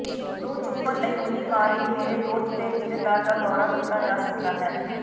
ਨੂੰ ਚੁੱਕਣ ਲਈ ਉੱਲੀਮਾਰ ਵੀ ਮੇਰੇ ਦੋਸਤ ਤੇ ਰਿਸ਼ਤੇਦਾਰ ਦਾ ਦੌਰਾ ਕੀਤਾ ਜਾ ਸਕਦਾ ਹੈ